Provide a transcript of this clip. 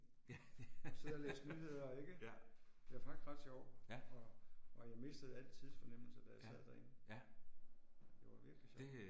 Sidde og læse nyheder ikke? Det var faktisk ret sjov. Og og jeg mistede al tidsfornemmelse da jeg sad derinde. Det var virkelig sjov